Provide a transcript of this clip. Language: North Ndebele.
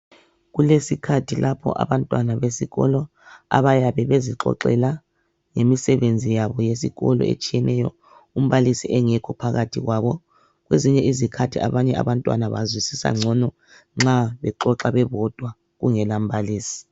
Kulesikhatji lapho abantwana besikolo abayabe bezixoxela ngemisebenzi yabo yesikolo etshiyeneyo umbalisi engekho phakathi kwabo kwezinye izikhathi abanye abantwana bazwisisa ngcono nxa bexoxa bebodwa kungela mbalisi.